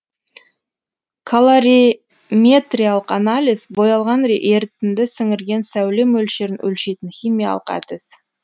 колориметриялық анализ боялған ерітінді сіңірген сәуле мөлшерін өлшейтін химиялық әдіс